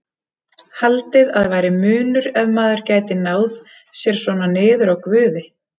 Haldið að væri munur ef maður gæti náð sér svona niður á Guði?